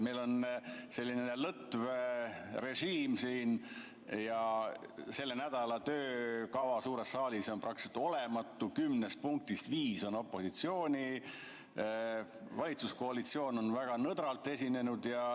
Meil on selline lõtv režiim siin ja selle nädala töökava suures saalis on praktiliselt olematu: kümnest punktist viis on opositsiooni omad, valitsuskoalitsioon on väga nõdralt esinenud.